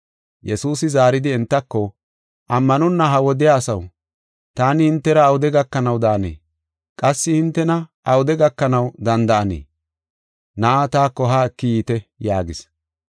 Yesuusi zaaridi entako, “Ammanonna ha wodiya asaw! Taani hintera awude gakanaw daanee? Qassi hintena awude gakanaw danda7anee? Na7aa taako haa eki yiite” yaagis.